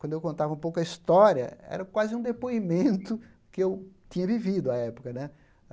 Quando eu contava um pouco a história, era quase um depoimento que eu tinha vivido à época né.